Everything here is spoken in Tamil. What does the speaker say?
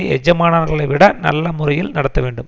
எஜமானர்களை விட நல்ல முறையில் நடத்த வேண்டும்